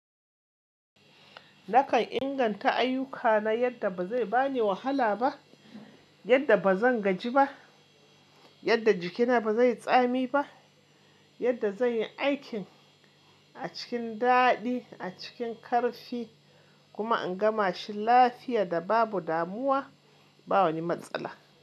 Nakan inganta ayyukana yadda ba zai bani wahala ba, yadda ba zan gaji ba, yadda jikina ba zai tsami ba, yadda zan yi aikin a cikin daɗi, a cikin ƙarfi kuma in gama shi lafiya da babu damuwa, ba wani matsala.